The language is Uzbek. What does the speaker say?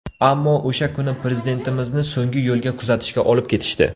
Ammo o‘sha kuni Prezidentimizni so‘nggi yo‘lga kuzatishga olib ketishdi.